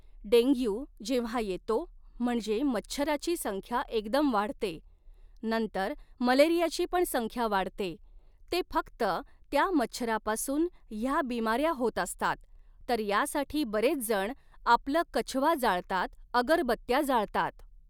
dengue जेव्हा येतो म्हणजे मच्छराची संख्या एकदम वाढते नंतर मलेरियाची पण संख्या वाढते ते फक्त त्या मच्छरापासून ह्या बिमाऱ्या होत असतात तर यासाठी बरेच जण आपलं कछवा जाळतात अगरबत्त्या जाळतात